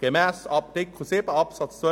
Gemäss Artikel 7 Absatz 2